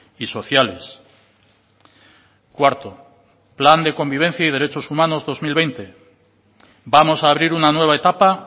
y sociales cuarto plan de convivencia y derechos humanos dos mil veinte vamos a abrir una nueva etapa